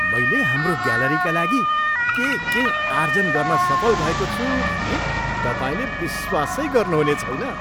मैले हाम्रो ग्यालरीका लागि के के आर्जन गर्न सफल भएको छु भन्ने तपाईँले विश्वासै गर्नुहुने छैन!